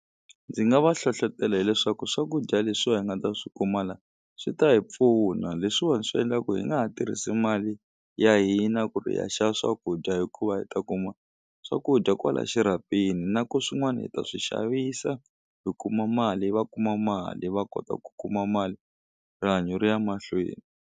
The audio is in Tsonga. Ndzi nga va hlohlotela hileswaku swakudya leswiwa hi nga ta swi kuma la swi ta hi pfuna leswiwani swi endla ku hi nga ha tirhisi mali ya hina ku ri hi ya xava swakudya hikuva hi ta kuma swakudya kwala xirhapeni na ku swin'wani hi ta swi xavisa hi kuma mali va kuma mali va kota ku kuma mali rihanyo ri ya mahlweni.